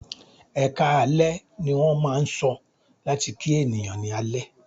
"Ẹkáalẹ́" ní wọ́n máà ń sọ láti kí ènìyàn ní alẹ́.